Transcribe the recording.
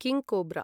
King cobra